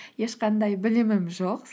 ешқандай білімім жоқ